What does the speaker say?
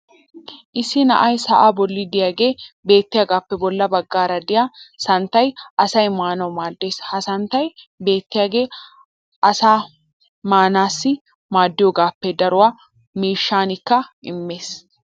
issi na"ay sa"aa boli diyaagee beettiyaagaappe bola bagaara diya santtay asaa maanawu maadees. ha santtay beettiyagee asaa maanaassi maadiyoogaappe daruwa miishshaakka immees.